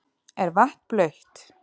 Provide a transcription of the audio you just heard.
Er vatn blautt?